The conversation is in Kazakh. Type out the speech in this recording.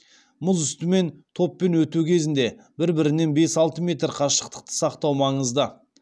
мұз үстімен топпен өту кезінде бір бірінен бес алты метр қашықтықты сақтау маңызды